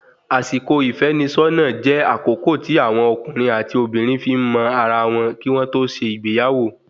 Àsìkò ìfẹ́nisọ́nà jẹ́ àkókò tí àwọn ọkùnrin àti obìnrin fi ń mọ ara wọn, kí wọ́n tó ṣe ìgbéyàwó